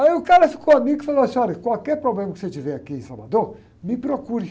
Aí o cara ficou amigo e falou assim, olha, qualquer problema que você tiver aqui em Salvador, me procure.